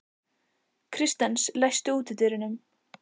Kristens, læstu útidyrunum.